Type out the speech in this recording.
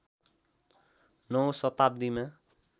९ औँ शताब्दीमा